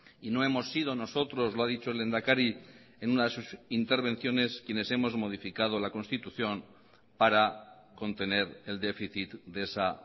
y no hemos sido nosotros lo ha dicho el lehendakari en una de sus intervenciones quienes hemos modificado la constitución para contener el déficit de esa